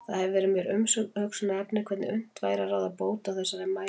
Það hefur verið mér umhugsunarefni hvernig unnt væri að ráða bót á þessari mæðu.